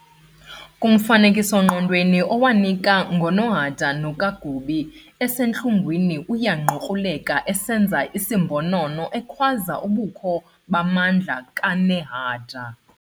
"Kumfanekiso-ngqondweni awunika ngoNahanda no Kagubi," esentlungwini uyangqukruleka esenza isimbonono ekhwaza ubukho bamandla kaNehanda